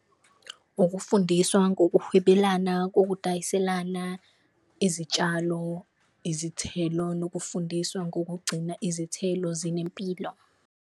Ukufundiswa ngokuhwebelana kokudayiselana izitshalo, izithelo nokufundiswa ngokugcina izithelo zinempilo.